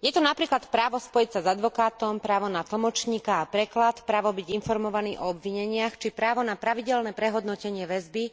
Je to napríklad právo spojiť sa s advokátom, právo na tlmočníka a preklad, právo byť informovaný o obvineniach, či právo na pravidelné prehodnotenie väzby